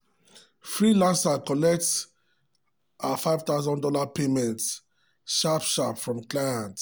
freelancer collect her five thousand dollars payment sharp sharp from client.